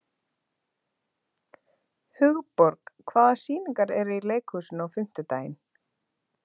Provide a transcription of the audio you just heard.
Hugborg, hvaða sýningar eru í leikhúsinu á fimmtudaginn?